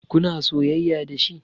Kuna soyayya dashi?